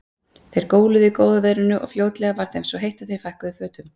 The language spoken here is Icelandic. Þeir hjóluðu í góða veðrinu og fljótlega varð þeim svo heitt að þeir fækkuðu fötum.